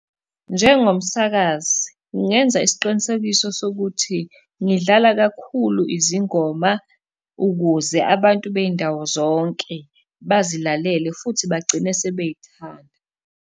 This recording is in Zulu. Njengomsakazi ngingenza isiqinisekiso sokuthi ngidlala kakhulu izingoma ukuze abantu bey'ndawo zonke bazilalele, futhi bagcine sebey'thanda.